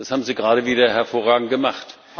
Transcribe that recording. Das haben Sie gerade wieder hervorragend gemacht.